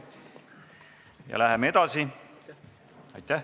Läheme edasi.